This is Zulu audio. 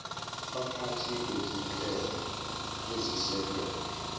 baphathi bezinhlelo ezisekela